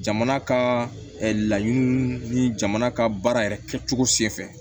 Jamana ka laɲiniw ni jamana ka baara yɛrɛ kɛcogo sen fɛ